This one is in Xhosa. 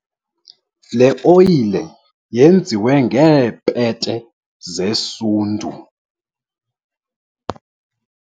le oyile yenziwe ngeepete zesundu